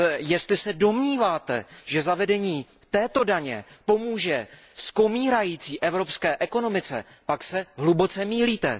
Jestli se domníváte, že zavedení této daně pomůže skomírající evropské ekonomice, pak se hluboce mýlíte.